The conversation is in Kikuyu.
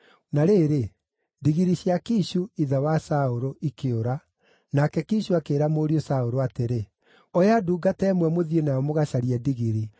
Na rĩrĩ, ndigiri cia Kishu, ithe wa Saũlũ, ikĩũra, nake Kishu akĩĩra mũriũ Saũlũ atĩrĩ, “Oya ndungata ĩmwe mũthiĩ nayo mũgacarie ndigiri.”